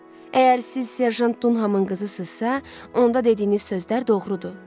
Əgər siz serjant Dunhəmin qızısınızsa, onda dediyiniz sözlər doğrudur.